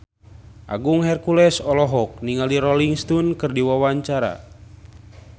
Agung Hercules olohok ningali Rolling Stone keur diwawancara